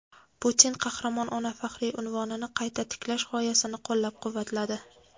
Putin "Qahramon ona" faxriy unvonini qayta tiklash g‘oyasini qo‘llab-quvvatladi.